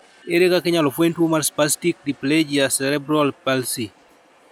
Ere kaka inyalo fweny tuo mar spastic diplegia cerebral palsy?